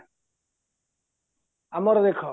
ଆମର ଦେଖ